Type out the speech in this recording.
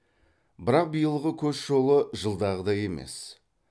бірақ биылғы көш жолы жылдағыдай емес